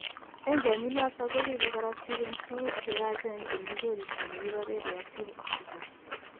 Enzyme inatan koribe korotik en tuguk cheyachen chemi koristo negibare reactive oxygen